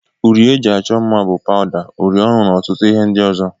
Uri eji achọ mma bú: pawda, uri ọnụ na ọtụtụ ihe ndị ọzọ.